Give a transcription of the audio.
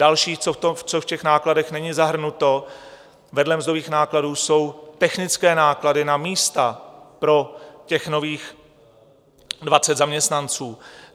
Další, co v těch nákladech není zahrnuto, vedle mzdových nákladů jsou technické náklady na místa pro těch nových 20 zaměstnanců.